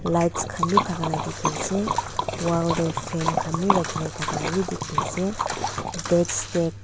lights khan bi thakhala dikhiase wall deh frame khan wii rakhina thaka wii dikhi ase desk teh.